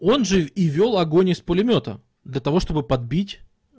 он же и вёл огонь из пулемёта для того чтобы подбить